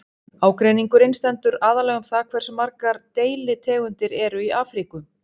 ágreiningurinn stendur aðallega um það hversu margar deilitegundir eru í afríku